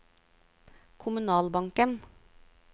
kommunalbanken